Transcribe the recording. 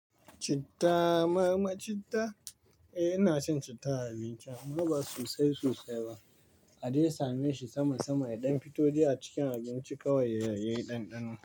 Chitta? Eh ina shan chitta a abinci amma ba sosai sosai ba. A dai same shi sama sama yadan fito dai a cikin abinci kawai ya yi ɗanɗano.